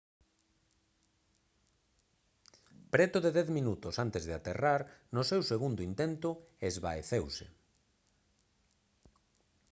preto de dez minutos antes de aterrar no seu segundo intento esvaeceuse